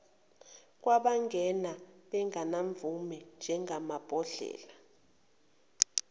kwabangene bengenamvume njengamabhodlela